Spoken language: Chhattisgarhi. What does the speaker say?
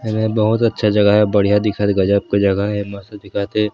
एमे बहुत अच्छा जगह हे बढ़िया दिखत हे गजब के जगह हे मस्त दिखत हे।